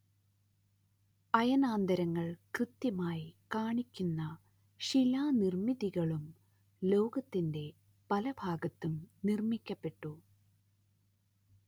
അയനാന്തങ്ങൾ കൃത്യമായി കാണിക്കുന്ന ശിലാനിർമ്മിതികളും ലോകത്തിന്റെ പലഭാഗത്തും നിർമ്മിക്കപ്പെട്ടു